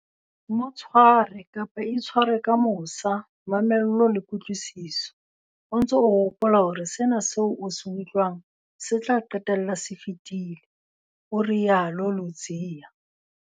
Mo tshware, kapa itshware, ka mosa, mamello le kutlwisiso, o ntse o hopola hore sena seo o se utlwang se tla qetella se fetile, o rialo Ludziya.